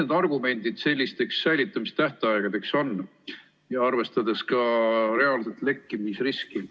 Mis argumentidel sellised säilitamistähtajad põhinevad, arvestades reaalset lekkimisriski?